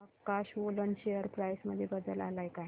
प्रकाश woollen share price मध्ये बदल आलाय का